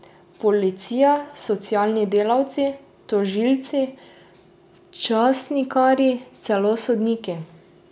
Policija, socialni delavci, tožilci, časnikarji, celo sodniki.